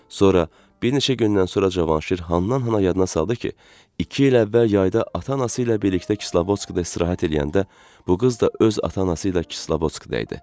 Sonra bir neçə gündən sonra Cavanşir handan-hana yadına saldı ki, iki il əvvəl yayda ata-anası ilə birlikdə Kislovodskda istirahət eləyəndə bu qız da öz ata-anası ilə Kislovodskda idi.